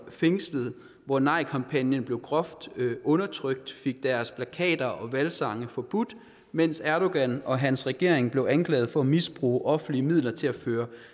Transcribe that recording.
fængslet hvor nejkampagnen blev groft undertrykt og fik deres plakater og valgsange forbudt mens erdogan og hans regering blev anklaget for at misbruge offentlige midler til at føre